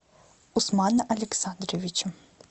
усмана александровича